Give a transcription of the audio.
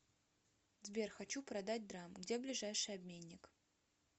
сбер хочу продать драм где ближайший обменник